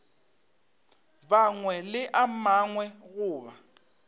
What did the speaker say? mangwe le a mangwe goba